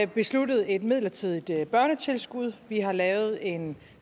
besluttet et midlertidigt børnetilskud og vi har lavet en